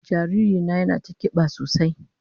Jariri na yana ta kiba sosai.